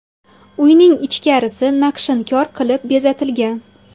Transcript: Uyning ichkarisi naqshinkor qilib bezatilgan.